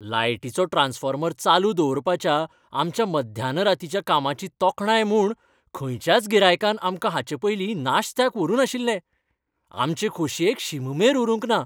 लायटीचो ट्रान्सफॉर्मर चालू दवरपाच्या आमच्या मध्यानरातीच्या कामाची तोखणाय म्हूण खंयच्याच गिरायकान आमकां हाचेपयलीं नाश्त्याक व्हरू नाशिल्ले. आमचे खोशयेक शीममेर उरूंक ना.